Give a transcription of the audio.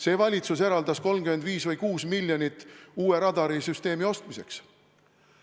See valitsus eraldas 35 või 36 miljonit uue radarisüsteemi ostmiseks.